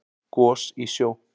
Gos í sjó